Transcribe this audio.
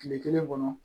Kile kelen kɔnɔ